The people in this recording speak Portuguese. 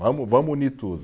Vamos, vamos unir tudo.